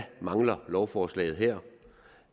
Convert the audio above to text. mangler lovforslaget her